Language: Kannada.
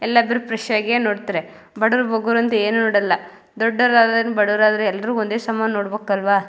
ಎಲ್ಲಾದ್ರೂ ಫ್ರೆಶ್ ಆಗಿಯೇ ನೋಡತ್ರೆ ಬಡವ್ರ್ ಬಗ್ಗಾರು ಅಂತ ಏನು ನೋಡಲ್ಲ. ದೊಡ್ಡೋರ್ ಆಗ್ಲಿ ಬಡವ್ರ್ ಆದ್ರೇನು ಎಲ್ಲರನು ಒಂದೇ ಸಮ ನೋಡ್ಬೇಕು ಅಲ್ವಾ.